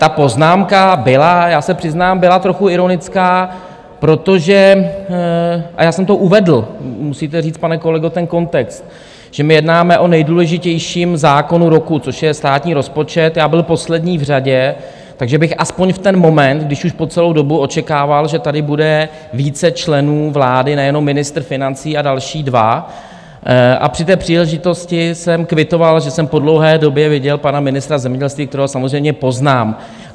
Ta poznámka byla, já se přiznám, byla trochu ironická, protože, a já jsem to uvedl, musíte říct, pane kolego, ten kontext, že my jednáme o nejdůležitějším zákonu roku, což je státní rozpočet, já byl poslední v řadě, takže bych aspoň v ten moment, když už po celou dobu očekával, že tady bude více členů vlády, nejenom ministr financí a další dva, a při té příležitosti jsem kvitoval, že jsem po dlouhé době viděl pana ministra zemědělství, kterého samozřejmě poznám.